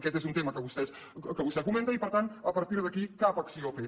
aquest és un tema que vostè comenta i per tant a partir d’aquí cap acció a fer